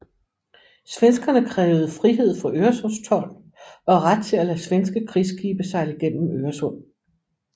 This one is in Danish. Svenskerne krævede frihed for Øresundstold og ret til at lade svenske krigsskibe sejle gennem Øresund